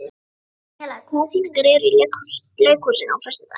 Daníela, hvaða sýningar eru í leikhúsinu á föstudaginn?